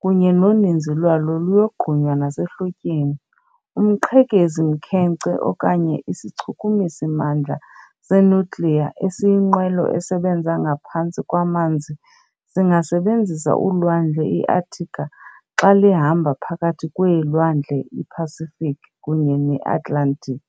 kunye noninzi lwalo luyogqunywa nasehlotyeni. Umqhekezi-mkhenkce okanye isichukumisi mandla se-nuclear esiyinqwelo esebenza ngaphantsi kwamanzi singasebenzisa ulwandle iarctica xa lihamba phakathi kweelwandle iPacific kunye neAtlantic.